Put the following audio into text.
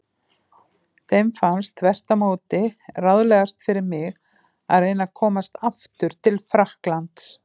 Þeim fannst þvert á móti ráðlegast fyrir mig að reyna að komast aftur til Frakklands.